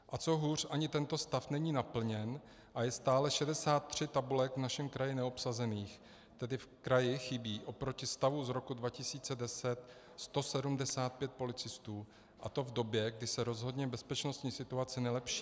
A co hůř, ani tento stav není naplněn a je stále 63 tabulek v našem kraji neobsazených, tedy v kraji chybí oproti stavu z roku 2010 175 policistů, a to v době, kdy se rozhodně bezpečnostní situace nelepší.